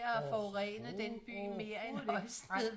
Overhovede overhovedet ikke nej